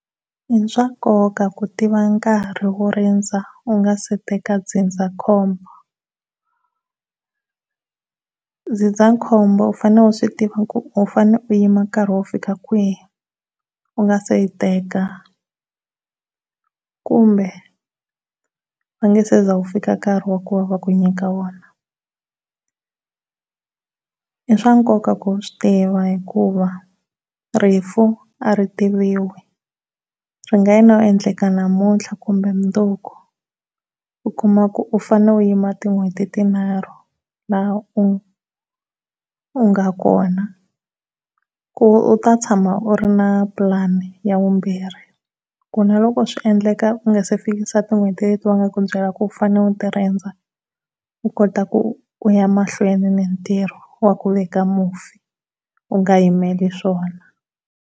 I swa nkoka ku tiva nkarhi wo rindza u nga si teka ndzindzakhombo. Ndzindzakhombo u fanele u swi tiva ku u fane u yima ku fika nkarhi wo fika kwihi u nga se yi teka kumbe va nga se za wu fika nkarhi wa ku va va ku nyika won. I swa nkoka ku u swi tiva hikuva rifu a ri tiviwi, swi nga o endleka namuntlha kumbe mundzuku u kuma ku u fane u yima tin'hweti tinharhu la u u nga kona ku u ta tshama u ri ni pulani ya vumbirhi ku naloko swi endleka u nga se fikisa tin'hweti leti va nga ku byela ku u fane u ti rindza, u kota ku u ya mahlweni ni ntirho wa ku veka mufi u nga yimeli swona.